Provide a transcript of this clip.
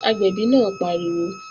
Gbin, agbẹ̀bí náà pariwo!